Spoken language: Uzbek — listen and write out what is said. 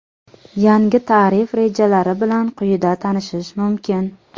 Yangi tarif rejalari bilan quyida tanishish mumkin .